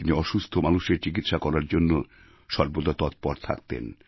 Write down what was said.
তিনি অসুস্থ মানুষের চিকিৎসা করার জন্য সর্বদা তৎপর থাকতেন